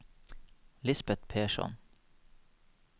Lisbet Persson